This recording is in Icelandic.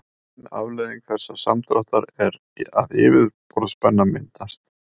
ein afleiðing þessa samdráttar er að yfirborðsspenna myndast